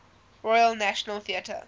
royal national theatre